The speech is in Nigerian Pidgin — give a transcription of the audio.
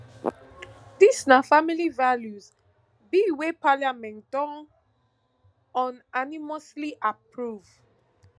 dis na family values bill wey parliament don unanimously approve